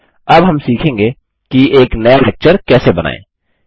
हम अब सीखेंगे कि एक नया लेक्चर कैसे बनाएँ